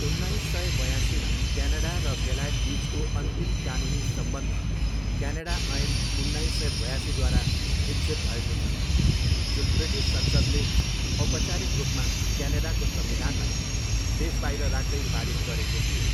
उन्नाइस सय बयासीमा, क्यानाडा र बेलायतबिचको अन्तिम कानुनी सम्बन्ध क्यानाडा ऐन उन्नाइस सय बयासीद्वारा विच्छेद भएको थियो, जुन ब्रिटिस संसद्ले औपचारिक रूपमा क्यानाडाको संविधानलाई देशबाहिर राख्दै पारित गरेको थियो।